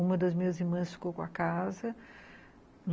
Uma das minhas irmãs ficou com a casa.